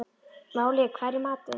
Váli, hvað er í matinn?